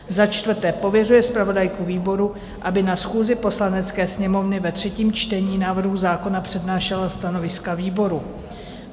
Za čtvrté pověřuje zpravodajku výboru, aby na schůzi Poslanecké sněmovny ve třetím čtení návrhu zákona přednášela stanoviska výboru.